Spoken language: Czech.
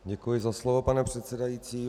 Děkuji za slovo, pane předsedající.